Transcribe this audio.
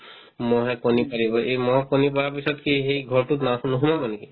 ম'হে কণী পাৰিব এই ম'হ কণী পাৰা পিছত কি সেই ঘৰতোত না নোসোমাব নেকি ?